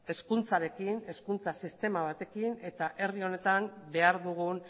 hezkuntzarekin hezkuntza sistema batekin eta herri honetan behar dugun